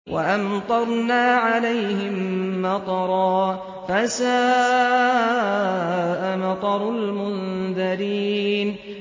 وَأَمْطَرْنَا عَلَيْهِم مَّطَرًا ۖ فَسَاءَ مَطَرُ الْمُنذَرِينَ